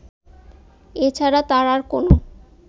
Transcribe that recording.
এ ছাড়া তার আর কোন